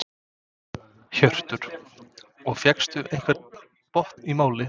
Hjörtur: Og fékkstu einhvern botn í málið?